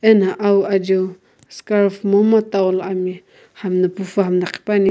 ena awu ajiu scarf momu towel ani hami na pufu hami na qhipuani.